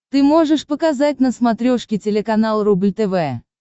ты можешь показать на смотрешке телеканал рубль тв